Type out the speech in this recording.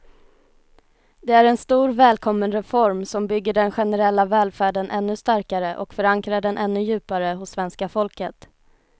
Det är en stor, välkommen reform som bygger den generella välfärden ännu starkare och förankrar den ännu djupare hos svenska folket.